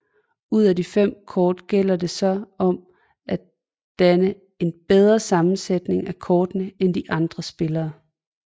Ud af de fem kort gælder det så om at danne en bedre sammensætning af kortene end de andre spillere